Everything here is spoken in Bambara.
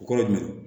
O kɔrɔ dunna